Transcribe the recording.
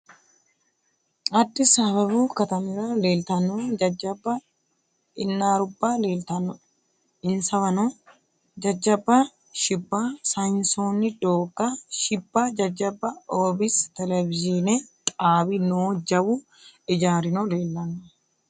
Addisi ababu katamira leeltanno jajjabba inaarubba leeltannoe insawano jajjabba shibba sayinsoonni doogga shibba jajjabba obs televizhiine xaabi noo jawu ijaarino leellanno.